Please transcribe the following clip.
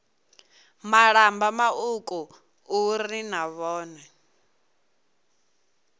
malamba mauku uri na vhone